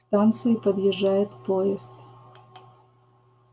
к станции подъезжает поезд